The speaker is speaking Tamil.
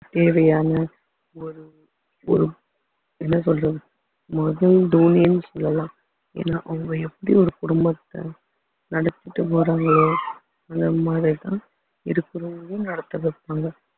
தேவையான ஒரு ஒரு என்ன சொல்றது முதல் தோனின்னு சொல்லலாம் ஏன்னா அவங்க எப்படி ஒரு குடும்பத்தை நடத்திட்டு போறாங்களோ அந்த மாதிரிதான் இருக்கறவங்களையும் நடத்த வைப்பாங்க